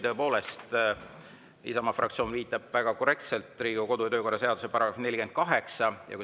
Tõepoolest, Isamaa fraktsioon viitab väga korrektselt Riigikogu kodu‑ ja töökorra seaduse §‑le 48.